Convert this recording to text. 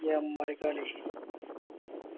ഏമ്മാരി കളി